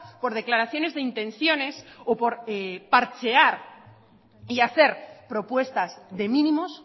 por declaraciones de intenciones o por parchear y hacer propuestas de mínimos